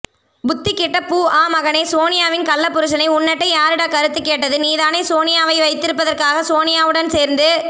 புத்திகெட்ட பூ ஆ மகனே சோனியாவின் கள்ளப்புரிசனே உன்னட்டை யாரடா கருத்துக்கேட்டது நீதானே சோனியாவை வைத்திருப்பதற்காக சோனியாவுடன் சேர்ந்து